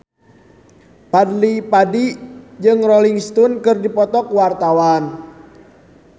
Fadly Padi jeung Rolling Stone keur dipoto ku wartawan